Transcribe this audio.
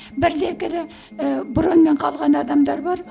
бір де екілі ііі броньмен қалған адамдар бар